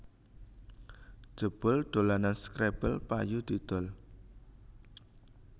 Jebul dolanan scrabble payu didol